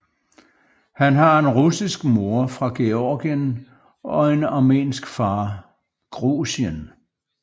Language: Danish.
Han har en russisk mor fra Georgien og en armensk far